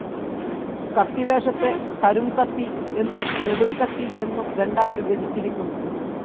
കത്തിവേഷത്തെ കുരുംകത്തി എന്നും നെടും കത്തി എന്നും രണ്ടായിവിഭജിച്ചിരിക്കുന്നു.